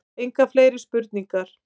Engar fleiri spurningar.